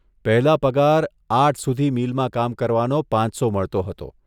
પહેલા પગાર આઠ સુધી મીલમાં કામ કરવાનો પાંચસો મળતો હતો.